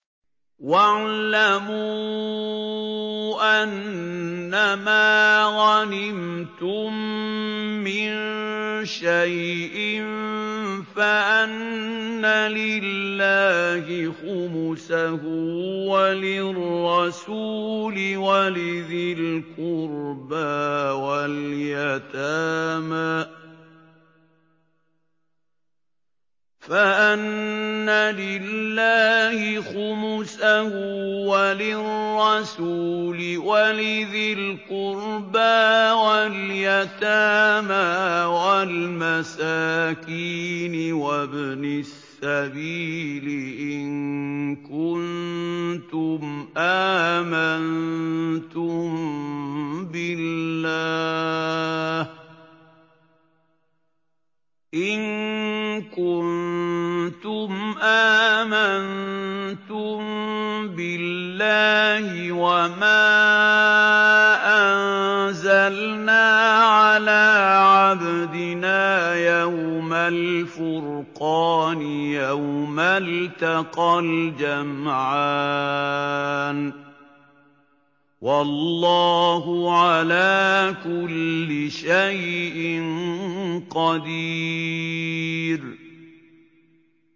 ۞ وَاعْلَمُوا أَنَّمَا غَنِمْتُم مِّن شَيْءٍ فَأَنَّ لِلَّهِ خُمُسَهُ وَلِلرَّسُولِ وَلِذِي الْقُرْبَىٰ وَالْيَتَامَىٰ وَالْمَسَاكِينِ وَابْنِ السَّبِيلِ إِن كُنتُمْ آمَنتُم بِاللَّهِ وَمَا أَنزَلْنَا عَلَىٰ عَبْدِنَا يَوْمَ الْفُرْقَانِ يَوْمَ الْتَقَى الْجَمْعَانِ ۗ وَاللَّهُ عَلَىٰ كُلِّ شَيْءٍ قَدِيرٌ